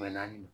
naani